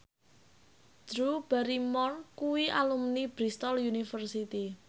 Drew Barrymore kuwi alumni Bristol university